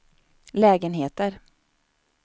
lägenheter